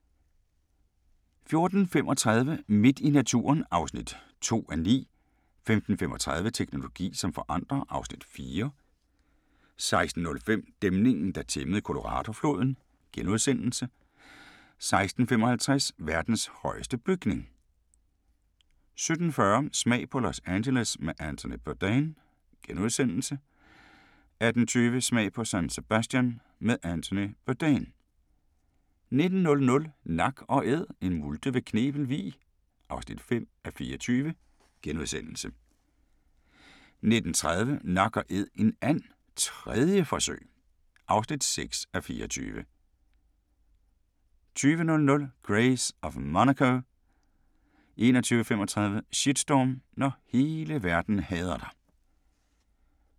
14:35: Midt i naturen (2:9) 15:35: Teknologi som forandrer (Afs. 4) 16:05: Dæmningen der tæmmede Coloradofloden * 16:55: Verdens højeste bygning 17:40: Smag på Los Angeles med Anthony Bourdain * 18:20: Smag på San Sebastian med Anthony Bourdain 19:00: Nak & Æd – en multe ved Knebel Vig (5:24)* 19:30: Nak & Æd en and - 3. forsøg (6:24) 20:00: Grace of Monaco 21:35: Shitstorm – når hele verden hader dig